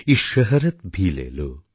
ইয়ে শহরত্ ভি লে লো